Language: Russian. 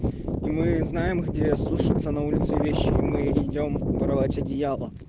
и мы знаем где сушатся на улице вещи мы идём воровать одеяла